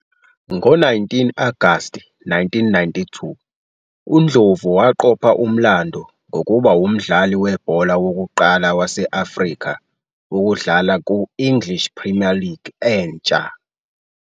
Ngo-19 Agasti 1992, uNdlovu waqopha umlando ngokuba ngumdlali webhola wokuqala wase-Afrika ukudlala ku-English Premier League entsha.